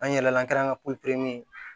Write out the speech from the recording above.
An yɛlɛla an kɛrɛn ka